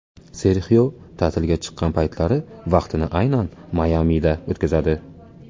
Serxio ta’tilga chiqqan paytlari vaqtini aynan Mayamida o‘tkazadi.